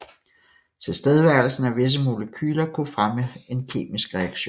Tilstedeværelsen af visse molekyler kunne fremme en kemisk reaktion